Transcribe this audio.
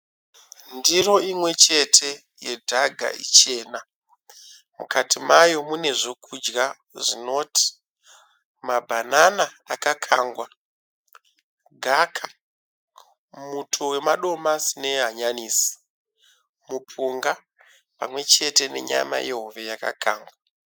Ndiro imwechete yedhaga ichena , mukati mayo munezvekudya zvinoti mabhanana akakangwa, gaka, muto wamadomasi nehanyanisi, mupunga pamwechete nenyama yehove yakakangwa.